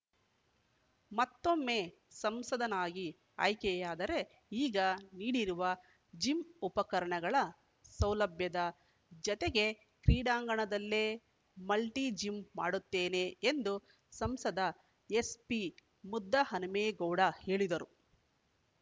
ಮತ್ತೊಮ್ಮೆ ಸಂಸದನಾಗಿ ಆಯ್ಕೆಯಾದರೆ ಈಗ ನೀಡಿರುವ ಜಿಮ್ ಉಪಕರಣಗಳ ಸೌಲಭ್ಯದ ಜತೆಗೆ ಕ್ರೀಡಾಂಗಣದಲ್ಲೇ ಮಲ್ಟಿಜಿಮ್ ಮಾಡುತ್ತೇನೆ ಎಂದು ಸಂಸದ ಎಸ್ಪಿ ಮುದ್ದಹನುಮೇಗೌಡ ಹೇಳಿದರು